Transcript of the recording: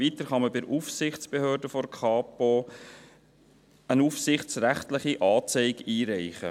Weiter kann man bei der Aufsichtsbehörde der Kapo eine aufsichtsrechtliche Anzeige einreichen.